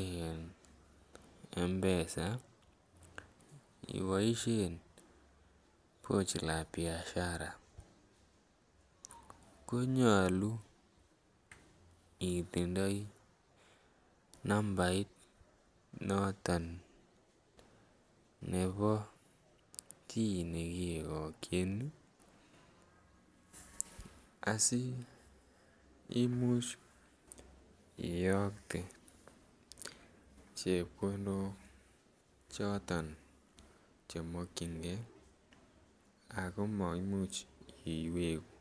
en mpesa iboisien Pochi la Biashara ko nyolu itindoi nambait noton nebo chi nekiyokyin asi Imuch iyokte chepkondok choton Che mokyingei iwegu